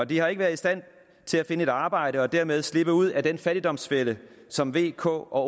de har ikke været i stand til at finde et arbejde og dermed slippe ud af den fattigdomsfælde som v k og